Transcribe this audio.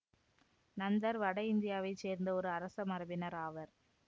நந்தர் வட இந்தியாவை சேர்ந்த ஒரு அரச மரபினர் ஆவர்